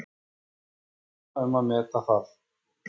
Ég læt aðra um að meta það.